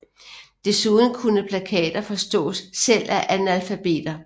Desuden kunne plakater forstås selv af analfabeter